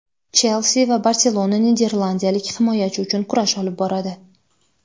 "Chelsi" va "Barselona" niderlandiyalik himoyachi uchun kurash olib boradi.